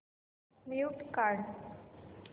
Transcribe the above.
mute काढ